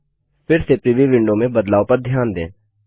फिर से preview window में बदलाव पर ध्यान दें